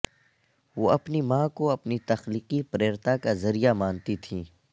وہ اپنی ماں کو اپنی تخلیقی پریرتا کا ذریعہ مانتی تھیں